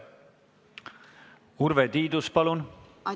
Urve Tiidus, palun!